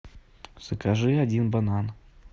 закажи один банан